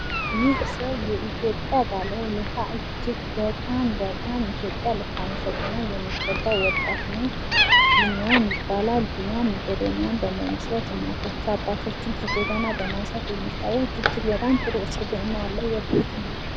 ይህ ሰው የኢትዮጵያ ባለውለታ እጅግ በጣም በጣም ኢትዮጵያ ልታመሰግነው የሚገባ ወጣት ነው። ቢኒያም ይባላል። ቢኒያም ሜቄዶኒያን በመመስረት እናቶች አባቶችን ከጎዳና በማንሳት የሚታወቅ እጅግ በጣም ጥሩ ስብእና ያለው ወጣት ነው።